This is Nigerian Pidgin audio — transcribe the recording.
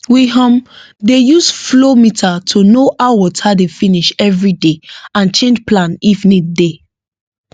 we um dey use flow meter to know how water dey finish every day and change plan if need dey